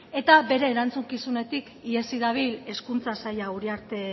eta bere erantzukizunetik ihesi dabil hezkuntza saila uriarte